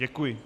Děkuji.